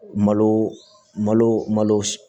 Malo malo malo